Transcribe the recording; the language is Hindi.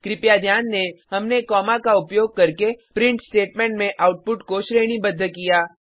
कृपया ध्यान दें हमने कॉमा का उपयोग करके प्रिंट स्टेटमेंट में आउटपुट को श्रेणीबद्ध किया